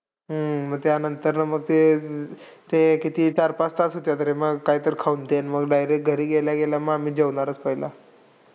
हम्म मग त्यानंतर मग ते, ते किती चार-पाच तास होतात रे मग, काय तरी खाऊन ते. अन मग direct घरी गेल्या गेल्या मग आम्ही जेवणारच पहिला.